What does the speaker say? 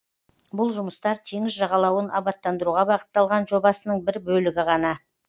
бұл жұмыстар теңіз жағалауын абаттандыруға бағытталған жобасының бір бөлігі ғана